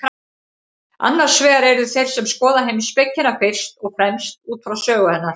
Annars vegar eru þeir sem skoða heimspekina fyrst og fremst út frá sögu hennar.